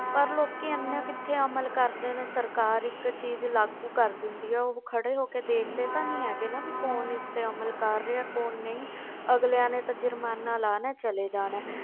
ਪਰ ਲੋਕੀ ਇੰਨੇ ਕਿੱਥੇ ਅਮਲ ਕਰਦੇ ਨੇ ਸਰਕਾਰ ਇੱਕ ਚੀਜ਼ ਲਾਗੂ ਕਰ ਦਿੰਦੀ ਆ, ਉਹ ਖੜੇ ਹੋ ਕੇ ਦੇਖਦੇ ਤਾਂ ਨੀ ਹੈਗੇ ਨਾ ਵੀ ਇਸ ਤੇ ਅਮਲ ਕਰ ਰਿਹਾ ਕੌਣ ਨਹੀਂ ਅਗਲਿਆਂ ਨੇ ਤਾਂ ਜ਼ੁਰਮਾਨਾ ਲਾਉਣਾ ਹੈ, ਚਲੇ ਜਾਣਾ ਹੈ,